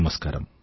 నమస్కారం